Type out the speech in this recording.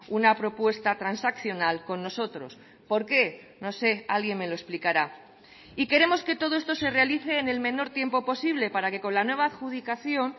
una propuesta transaccional con nosotros por qué no sé alguien me lo explicará y queremos que todo esto se realice en el menor tiempo posible para que con la nueva adjudicación